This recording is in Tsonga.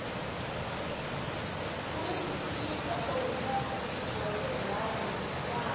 kuni swikipa swo hunda gidi wa tirhandi hi nxavo